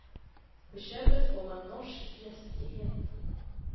På köpet får man norsk gästfrihet.